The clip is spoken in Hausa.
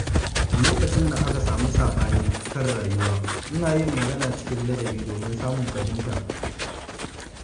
Lokacin da aka sami saɓani kan rayuwa, ina yin magana cikin ladabi domin samun fahimta.